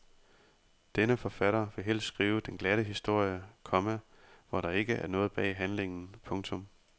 Denne forfatter vil helst skrive den glatte historie, komma hvor der ikke er noget bag handlingen. punktum